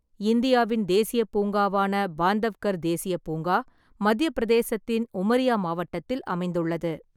இந்தியாவின் தேசியப் பூங்காவான பாந்தவ்கர் தேசியப் பூங்கா மத்தியப் பிரதேசத்தின் உமரியா மாவட்டத்தில் அமைந்துள்ளது.